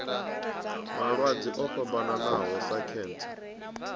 malwadze o fhambanaho sa khentsa